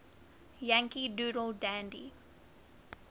yankee doodle dandy